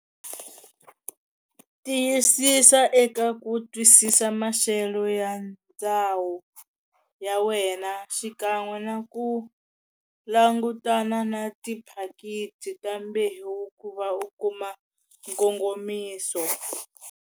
Tiyisisa eka ku twisisa maxelo ya ndhawu ya wena xikan'we na ku langutana na tiphakithi ta mbewu ku va u kuma nkongomiso.